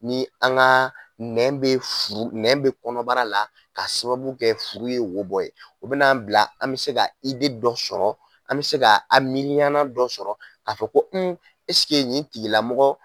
Ni an ka nɛn bɛ kɔnɔbara la ka sababu kɛ furu ye wo bɔ ye o bɛn'an bila an bɛ se dɔ sɔrɔ an bɛ se ka an miiriyana dɔ sɔrɔ k'a fɔ ko un nin tigilamɔgɔ